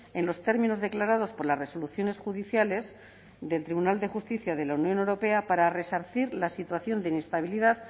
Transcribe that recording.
en los términos declarados por las resoluciones judiciales del tribunal de justicia de la unión europea para resarcir la situación de inestabilidad